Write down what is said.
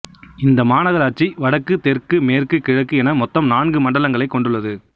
இந்த மாநகராட்சி வடக்கு தெற்கு மேற்கு கிழக்கு என மொத்தம் நான்கு மண்டலங்களைக் கொண்டுள்ளது